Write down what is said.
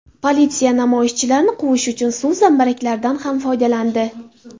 Politsiya namoyishchilarni quvish uchun suv zambaraklaridan ham foydalandi.